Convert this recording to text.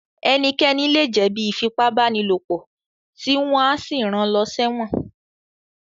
Ẹnikẹ́ni lè jẹ̀ bí Ífipá-báni-lòpọ̀ tí wọ́n á sì ran lọ sẹ́wọ̀n